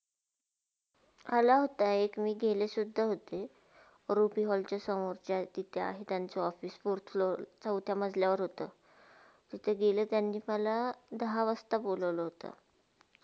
आला होता एक मी केले सुदधा होते रुपी वलडच्या समोरच्या तर तिथे आहे. त्यांचे आहे officefourth floor चौथ्या मजल्यावर होता. तिथे गेल्या त्यांनी मला दहा वाजता बोलावलं होता.